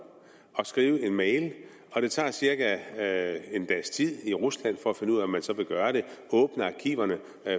at skrive en mail og det tager cirka en dags tid i rusland at finde ud af om man så vil gøre det og åbne arkiverne